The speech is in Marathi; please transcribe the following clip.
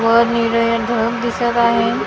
वर निरे ढग दिसत आहे लॉ --